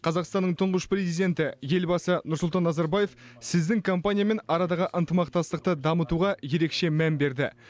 қазақстанның тұңғыш президенті елбасы нұрсұлтан назарбаев сіздің компаниямен арадағы ынтымақтастықты дамытуға ерекше мән берді